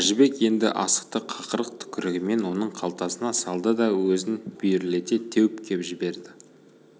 әжібек енді асықты қақырық-түкірігімен оның қалтасына салды да өзін бүйірлете теуіп кеп жіберді